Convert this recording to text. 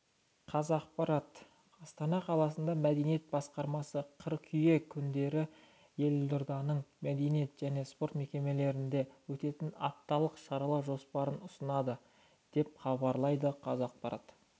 қазақпарат астана қаласының мәдениет басқармасы қыркүйек күндері елорданың мәдениет және спорт мекемелерінде өтетін апталық шаралар жоспарын ұсынады деп хабарлайды қазақпарат